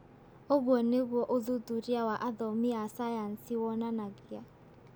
Ũguo nĩguo ũthuthuria wa athomi a sayansi wonanagia.